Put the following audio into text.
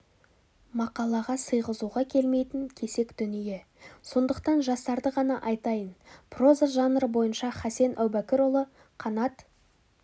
мақалаға сыйғызуға келмейтін кесек дүние сондықтан жастарды ғана айтайын проза жанры бойынша хасен әубәкірұлы қанат